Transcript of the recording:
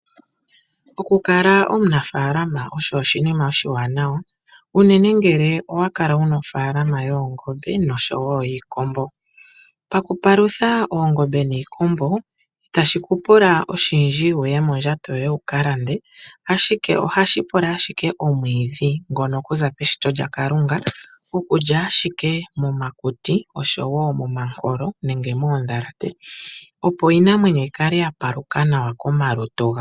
Okukala omunafaalama osho oshinima oshiwanawa unene ngele owa kala wuna ofaalama yoongombe noshowo yiikombo. Pakupalutha oongombe niikombo itashi kupula oshindji wuye mondjato yoye wuka lande ashike ohashi pula ashike omwiidhi ngono kuza peshito lyaKalunga. Okulya ashike momakuti oshowo momankolo nenge moondhalate opo iinamwenyo yikale ya paluka nawa komalutu gawo.